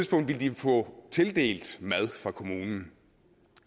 få tildelt mad fra kommunen